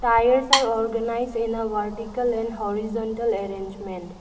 tires are organised in a vertical and horizontal arrangement.